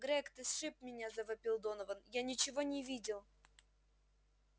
грег ты сшиб меня завопил донован я ничего не видел